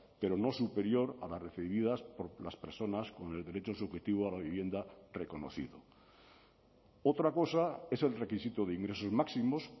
pero no superior a las recibidas por las personas con el derecho subjetivo a la vivienda reconocido otra cosa es el requisito de ingresos máximos